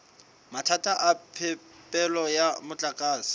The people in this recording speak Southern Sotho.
mathata a phepelo ya motlakase